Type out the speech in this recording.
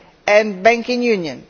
and banking union.